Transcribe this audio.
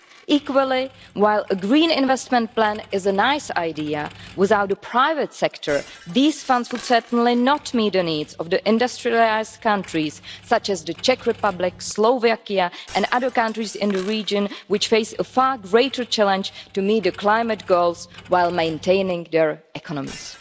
Equally, while a green investment plan is a nice idea, without the private sector these funds would certainly not meet the needs of industrialised countries, such as the Czech Republic, Slovakia and other countries in the region, which face a far greater challenge to meet the climate goals while maintaining their economies.